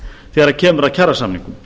þegar kemur að kjarasamningum